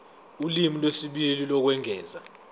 ulimi lwesibili lokwengeza